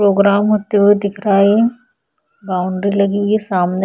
Programme होते हुए दिख रहा है। बाउंड्री लगी हुई है सामने।